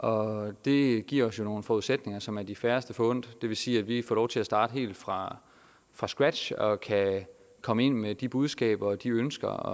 og det giver os jo nogle forudsætninger som er de færreste forundt det vil sige at vi får lov til at starte helt fra fra scratch og at vi kan komme ind med de budskaber og de ønsker og